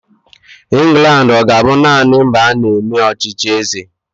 England ọ ga-abụ naanị mba a na-eme ọchịchị eze?